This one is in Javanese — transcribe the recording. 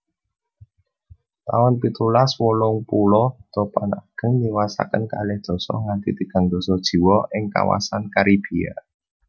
taun pitulas wolung puluh Topan ageng niwasaken kalih dasa nganthi tigang dasa jiwa ing kawasan Karibia